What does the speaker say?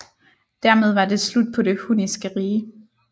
Dermed var det slut på det hunniske rige